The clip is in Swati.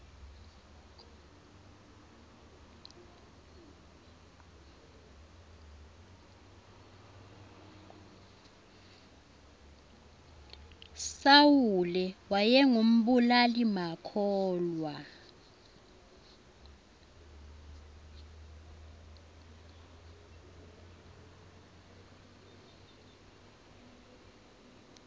sawule wayengu mbulali makhulwa